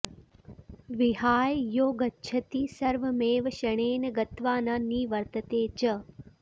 विहाय यो गच्छति सर्वमेव क्षणेन गत्वा न निवर्तते च